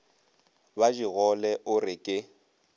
ba digole o re ke